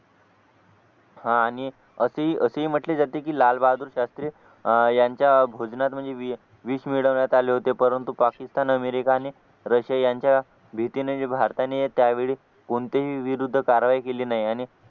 हा आणि असे असे म्हटले जाते की लालबहादूर शास्त्री अह यांच्या भोजनात म्हणजे विष मिळवण्यात आले होते परंतु पाकिस्तान अमेरिका आणि रशिया यांच्या भीतीने भारताने त्यावेळी कोणतेही विरुद्ध कारवाई केली नाही